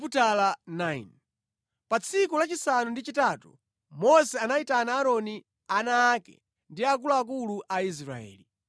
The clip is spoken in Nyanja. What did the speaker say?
Pa tsiku lachisanu ndi chitatu Mose anayitana Aaroni, ana ake ndi akuluakulu a Aisraeli.